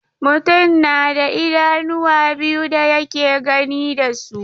Mutum na da idanuwa biyu da yake gani da su.